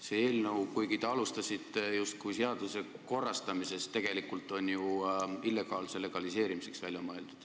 See eelnõu, kuigi te alustasite justkui vajadusest seadust korrastada, on tegelikult millegi illegaalse legaliseerimiseks välja mõeldud.